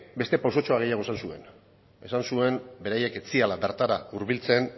beste pausutxo bat gehiago esan zuen esan zuen beraiek ez zirela bertara hurbiltzen